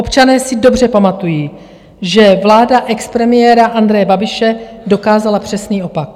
Občané si dobře pamatují, že vláda expremiéra Andreje Babiše dokázala přesný opak.